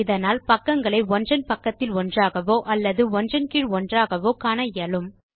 இதனால் பக்கங்களை ஒன்றன் பக்கத்தில் ஒன்றாகவோ அல்லது ஒன்றன் கீழ் ஒன்றாகவோ காணவும் இயலும்